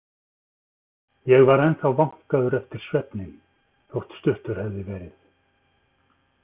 Ég var ennþá vankaður eftir svefninn, þótt stuttur hefði verið.